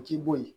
K'i bo yen